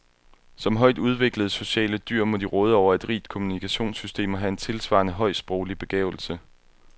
Som højt udviklede, sociale dyr må de råde over et rigt kommunikationssystem og have en tilsvarende høj, sproglig begavelse.